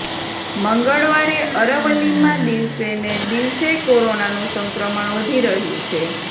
મંગળવારે અરવલ્લીમાં દિવસેને દિવસે કોરોનાનું સંક્રમણ વધી રહ્યું છે